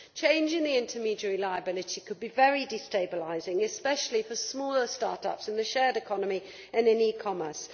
Change in the intermediary liability could be very destabilising, especially for smaller start ups in the shared economy and in e commerce.